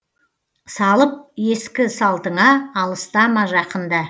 салып ескі салтыңа алыстама жақында